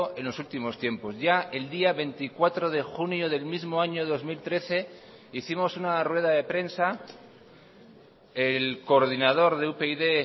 en los últimos tiempos ya el día veinticuatro de junio del mismo año dos mil trece hicimos una rueda de prensa el coordinador de upyd